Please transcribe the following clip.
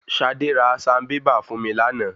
Ṣadé ra sanbébà fún mi lánàá.